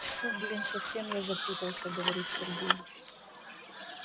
тьфу блин совсем я запутался говорит сергей